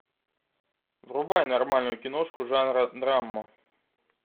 врубай нормальную киношку жанра драма